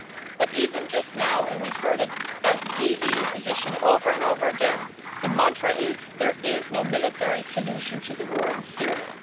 But even now and we've heard it as the EU position over and over again the mantra is that there is no military solution to the war in Syria.